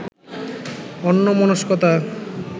অন্যমনস্কতা